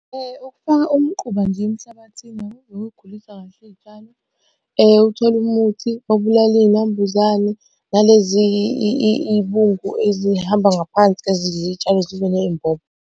Ukufaka umquba nje emhlabathini . Uthole umuthi obulala iy'nambuzane nalezi iy'bungu ezihamba ngaphansi ezidla iy'tshalo zibe ney'mbobo.